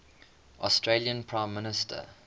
australian prime minister